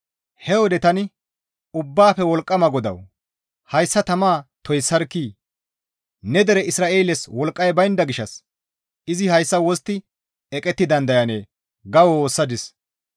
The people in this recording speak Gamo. He wode tani, «Ubbaafe Wolqqama GODAWU! Hayssa tamaa toyssarkkii! Ne dere Isra7eeles wolqqay baynda gishshas izi hayssa wostti eqetti dandayanee?» ga woossadis.